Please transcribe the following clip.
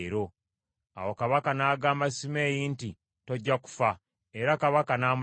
Awo kabaka n’agamba Simeeyi nti, “Tojja kufa.” Era kabaka n’amulayirira.